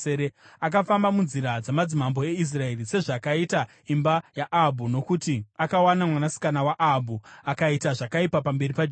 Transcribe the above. Akafamba munzira dzamadzimambo eIsraeri, sezvakaita imba yaAhabhu, nokuti akawana mwanasikana waAhabhu. Akaita zvakaipa pamberi paJehovha.